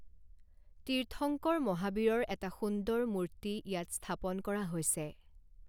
তীৰ্থংকৰ মহাবীৰৰ এটা সুন্দৰ মূৰ্তি ইয়াত স্থাপন কৰা হৈছে।